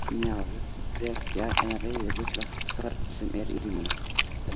Smjaður, frekja eða reiði ruglar hvern sem er í ríminu.